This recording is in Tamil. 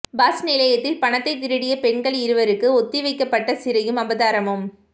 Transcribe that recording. பஸ் நிலையத்தில் பணத்தை திருடிய பெண்கள் இருவருக்கு ஒத்திவைக்கப்பட்ட சிறையும் அபராதமும்